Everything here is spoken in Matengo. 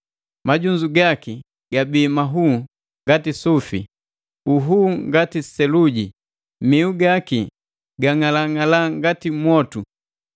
Majunzu gaki gabii nhuu ngati sufi, nhuu ngati seluji, mihu gaki gang'alang'ala ngati mwotu,